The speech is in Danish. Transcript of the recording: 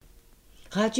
Radio 4